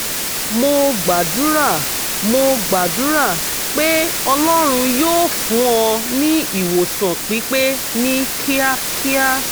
mo gbàdúrà mo gbàdúrà pé ọlọ́run yóò fún ọ ní ìwòsàn pípé ní kíákíá